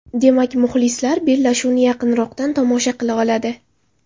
Demak, muxlislar bellashuvni yaqinroqdan tomosha qila oladi.